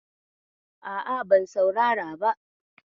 A'a, ban saurara ba.